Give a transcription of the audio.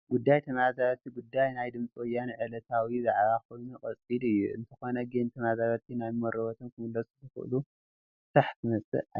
ጉዳይ ተመዛመልቲ ጉዳይ ናይ ድምፂ ወያነ ዕለታዊ ዛዕባ ኮይኑ ቀፂሉ እዩ፡፡ እንተኾነ ግን ተመዛመልቲ ናብ መረበቶም ክምለስሉ ዝኽእሉ ፍታሕ ክመፅእ ኣይከኣለን፡፡